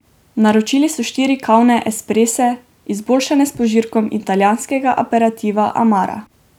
Naročili so štiri kavne esprese, izboljšane s požirkom italijanskega aperitiva amara.